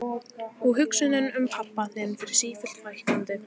Og hugsunum um pabba þinn fer sífellt fækkandi.